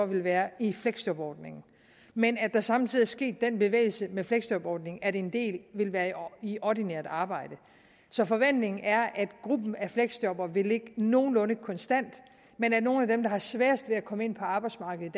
vil være i fleksjobordningen men at der samtidig sket den bevægelse med fleksjobordningen at en del vil være i ordinært arbejde så forventningen er at gruppen af fleksjobbere vil ligge nogenlunde konstant men at nogle af dem der har sværest ved at komme ind på arbejdsmarkedet